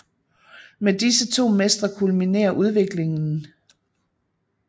Med disse to mestre kulminerer udviklingen